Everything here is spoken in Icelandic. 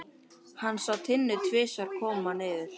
Hann sá Tinnu tvisvar koma niður.